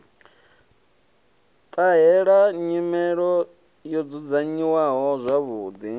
ṱahela nyelelo yo dzudzanyiwaho zwavhuḓi